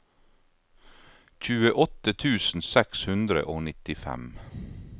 tjueåtte tusen seks hundre og nittifem